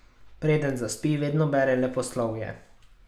Preden zaspi, vedno bere leposlovje.